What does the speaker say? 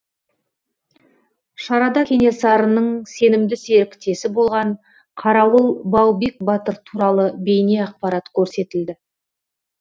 шарада кенесарының сенімді серіктесі болған қарауыл баубек батыр туралы бейнеақпарат көрсетілді